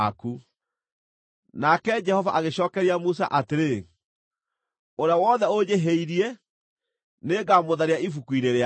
Nake Jehova agĩcookeria Musa atĩrĩ, “Ũrĩa wothe ũnjĩhĩirie, nĩngamũtharia ibuku-inĩ rĩakwa.